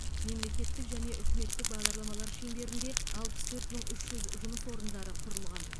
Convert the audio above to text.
мемлекеттік және үкіметтік бағдарламалар шеңберінде алпыс төрт мың үш жүз жұмыс орындары құрылған